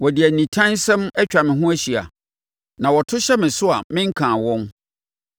Wɔde nitansɛm atwa me ho ahyia na wɔto hyɛ me so a menkaa wɔn.